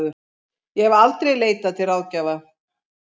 Ég hef aldrei leitað til ráðgjafa.